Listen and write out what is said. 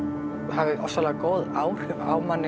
hafi ofsalega góð áhrif á mann